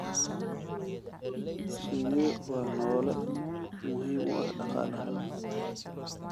Shinnidu waa noole muhiim u ah dhaqaalaha.